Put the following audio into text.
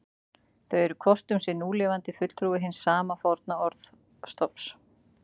Þau eru hvort um sig núlifandi fulltrúi hins sama forna orðstofns.